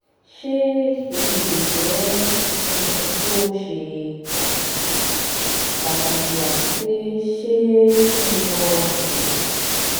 ṣe eyi le jẹ nkan to ṣe pataki pataki ati pe ṣé ki n lọ ṣayẹwo?